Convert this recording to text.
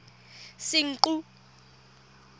senqu